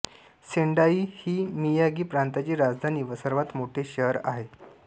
Sendai ही Miyagi प्रांताची राजधानी व सर्वात मोठे शहर आहे